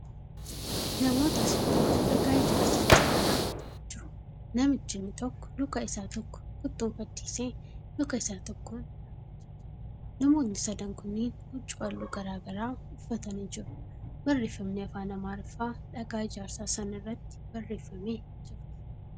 Namoota saditu dhagaa ijaarsaa cinaa dhaabbatanii jiru. Namichi inni tokko luka isaa tokko kottoonfachiisee luka isa tokkoon dhaabbachaa jira. Namootni sadan kunniin huccuu haalluu garagaraa uffatanii jiru. Barreeffamni afaan Amaariffaa dhagaa ijaarsaa san irratti barreeffamee jira.